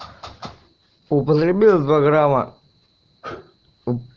употребил два грамма